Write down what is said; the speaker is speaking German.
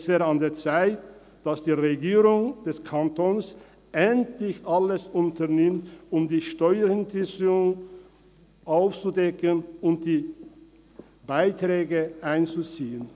– Es wäre an der Zeit, dass die Regierung des Kantons endlich alles unternimmt, um Steuerhinterziehung aufzudecken und die Beiträge einzuziehen.